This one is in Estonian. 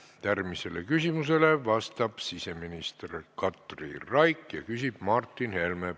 Järgmisele küsimusele vastab siseminister Katri Raik ja küsib Martin Helme.